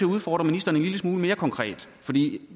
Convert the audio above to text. udfordre ministeren en lille smule mere konkret